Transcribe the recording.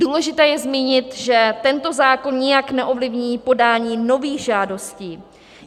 Důležité je zmínit, že tento zákon nijak neovlivní podání nových žádostí.